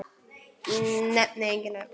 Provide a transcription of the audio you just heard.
Nefni engin nöfn.